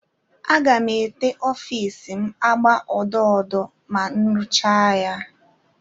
Aga m ete ọfiisi m agba odo odo ma m rụchaa ya.